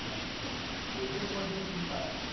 আচ্ছা ওই টাই তোমার জন্য FIFA